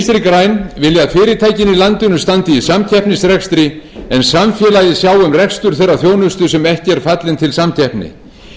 græn vilja að fyrirtækin í landinu standi í samkeppnisrekstri en samfélagið sjái um rekstur þeirrar þjónustu sem ekki er fallin til samkeppni við viljum halda sköttum hóflegum